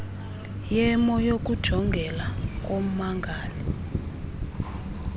yemo yokujongeka kommangali